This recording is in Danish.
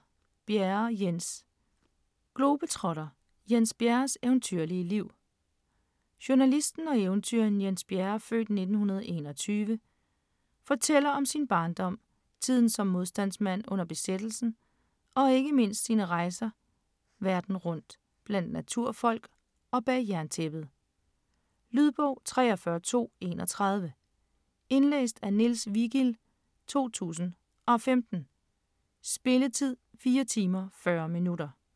Bjerre, Jens: Globetrotter: Jens Bjerres eventyrlige liv Journalisten og eventyreren Jens Bjerre (f. 1921) fortæller om sin barndom, tiden som modstandsmand under besættelsen og ikke mindst om sine rejser verden rundt, blandt naturfolk og bag jerntæppet. Lydbog 43231 Indlæst af Niels Vigild, 2015. Spilletid: 4 timer, 40 minutter.